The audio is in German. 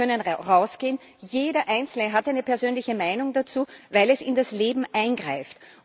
Und Sie können hinausgehen jeder Einzelne hat eine persönliche Meinung dazu, weil es in das Leben eingreift.